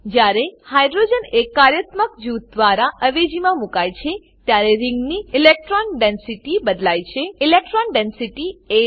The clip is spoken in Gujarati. જ્યારે હાઇડ્રોજન એક કાર્યાત્મક જૂથ દ્વારા અવેજીમાં મુકાય છે ત્યારે રિંગની ઇલેક્ટ્રોન ડેન્સિટી ઇલેક્ટ્રોન ડેન્સીટી બદલાય છે